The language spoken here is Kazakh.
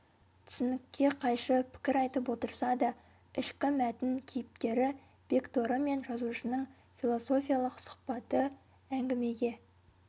түсінікке қайшы пікір айтып отырса да ішкі мәтін кейіпкері бекторы мен жазушының философиялық сұхбаты әңгімеге